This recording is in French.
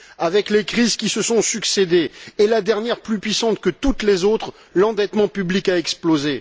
Avec les crises qui se sont succédé, la dernière plus puissante que toutes les autres, l'endettement public a explosé.